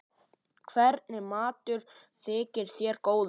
Hvernig matur þykir þér góður?